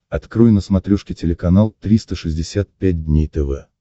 открой на смотрешке телеканал триста шестьдесят пять дней тв